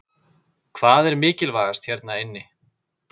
Hvað er mikilvægast hérna inni?